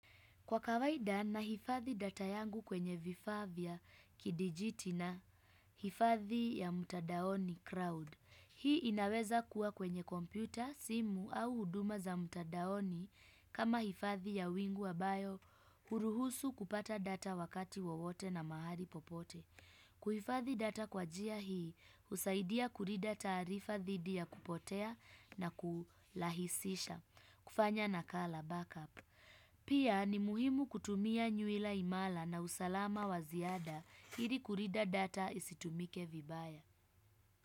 Kwa kawaida na hifadhi data yangu kwenye vifaa vya kidijiti na hifadhi ya mtadaoni crowd. Hii inaweza kuwa kwenye kompyuta, simu au huduma za mtadaoni kama hifadhi ya wingu ambayo huruhusu kupata data wakati wowote na mahali popote. Kuhifadhi data kwa njia hii, husaidia kulinda taarifa zidi ya kupotea na kurahisisha. Kufanya nakala backup. Pia ni muhimu kutumia nywila imara na usalama waziada ili kulinda data isitumike vibaya.